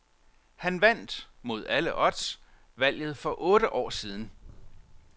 Han vandt, mod alle odds, valget for otte år siden.